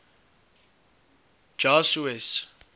jasues